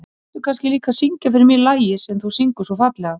Og viltu kannski líka syngja fyrir mig lagið sem þú syngur svo fallega.